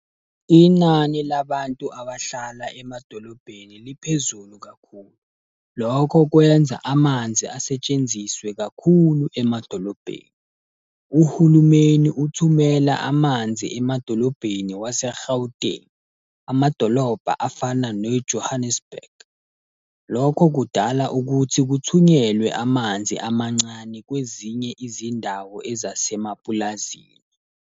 Inani labantu abahlala emadolobheni liphezulu kakhulu. Lokho kwenza amanzi asetshenziswe kakhulu emadolobheni. Uhulumeni uthumela amanzi emadolobheni wase-Gauteng, amadolobha afana ne-Johannesburg. Lokho kudala ukuthi kuthunyelwe amanzi amancane kwezinye izindawo ezasemapulazini.